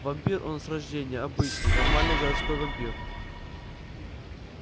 вампир он с рождения обычный нормальный городской вампир